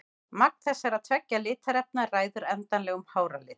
Magn þessara tveggja litarefna ræður endanlegum hárlit.